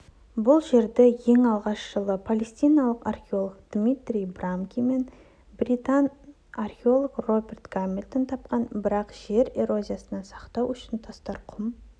бұл жердіең алғаш жылы палестиналық археолог дмитрий барамки мен британ археолог роберт гамильтон тапқан бірақ жер эрозиясынан сақтау үшін тастар құм